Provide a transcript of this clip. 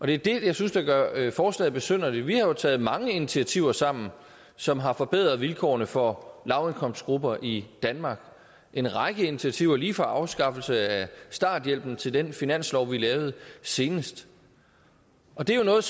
det er det jeg synes gør forslaget besynderligt vi har jo taget mange initiativer sammen som har forbedret vilkårene for lavindkomstgrupper i danmark en række initiativer lige fra afskaffelse af starthjælpen til den finanslov vi lavede senest det er jo noget